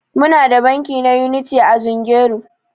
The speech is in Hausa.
Muna da banki na Unity a Zungeru.